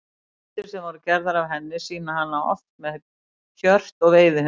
Myndir sem voru gerðar af henni sýna hana oft með hjört og veiðihund.